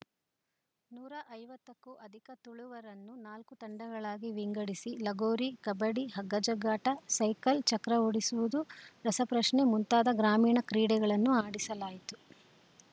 ನೂರ ಐವತ್ತಕ್ಕೂ ಅಧಿಕ ತುಳುವರನ್ನು ನಾಲ್ಕು ತಂಡಗಳಾಗಿ ವಿಂಗಡಿಸಿ ಲಗೋರಿ ಕಬಡ್ಡಿ ಹಗ್ಗಜಗ್ಗಾಟ ಸೈಕಲ್‌ ಚಕ್ರ ಓಡಿಸುವುದು ರಸಪ್ರಶ್ನೆ ಮುಂತಾದ ಗ್ರಾಮೀಣ ಕ್ರಿಡೆಗಳನ್ನು ಆಡಿಸಲಾಯಿತು